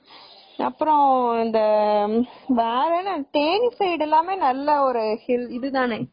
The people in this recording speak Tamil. அப்பறம் அந்த தேனி side எல்லாமே நல்ல ஒரு hill தானே